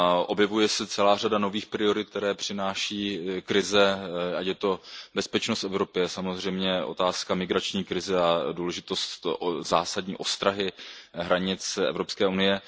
Objevuje se celá řada nových priorit, které přináší krize, ať je to bezpečnost v Evropě, samozřejmě otázka migrační krize a důležitost zásadní ostrahy hranic Evropské unie.